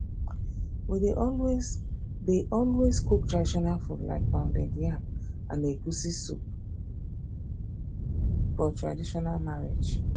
we dey always dey always cook traditional food like pounded yam and egusi soup for traditional marriage